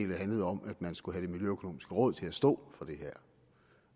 det handlede om at man skulle have det miljøøkonomiske råd til at stå for det her